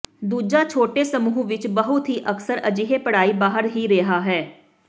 ਦੂਜਾ ਛੋਟੇ ਸਮੂਹ ਵਿੱਚ ਬਹੁਤ ਹੀ ਅਕਸਰ ਅਜਿਹੇ ਪੜ੍ਹਾਈ ਬਾਹਰ ਹੀ ਰਿਹਾ ਹੈ